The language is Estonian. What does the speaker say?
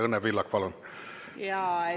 Õnne Pillak, palun!